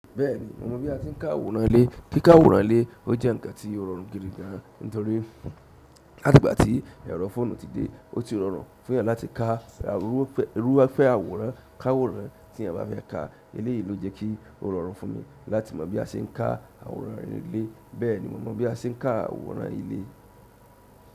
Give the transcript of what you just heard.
Bẹ́ẹ̀ni, mo mọ bí a ti ń kán àwòrán ilé. Kí ká àwòrán ile, o jẹ́ ǹkan tí ó rọrùn gidi gan, nítorí láti gba tí ẹ̀rọ fóònù ti dé, ó ti rọrùn fún eeyan láti ká a irúfẹ́ irúfẹ́ àwòrán, ká àwòrán tí eeyan bá fẹ́ ká. Eléyìí ló jẹ́ kí ó rọrùn fún mi láti mọ bí a ṣe ń ká àwòrán ilé. Bẹ́ẹ̀ni, mo mọ bí a ṣe ń ká àwòrán ilé.